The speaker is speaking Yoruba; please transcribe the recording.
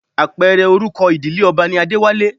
Apẹ̀rẹ̀ orúkọ ìdílé ọba ni Adéwálé